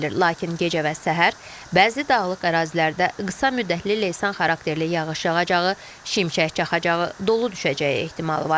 Lakin gecə və səhər bəzi dağlıq ərazilərdə qısa müddətli leysan xarakterli yağış yağacağı, şimşək çaxacağı, dolu düşəcəyi ehtimalı var.